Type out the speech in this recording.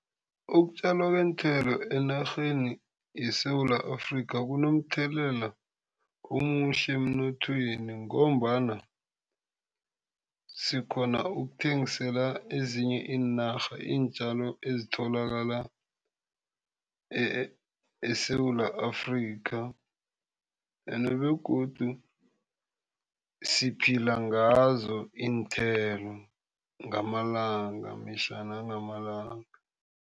Ukutjalwa kweenthelo enarheni yeSewula Afrika kunomthelela omuhle emnothweni ngombana sikghona ukuthengisela ezinye iinarha iintjalo ezitholakala eSewula Afrika ende begodu siphila ngazo iinthelo ngamalanga mihla nangamalanga.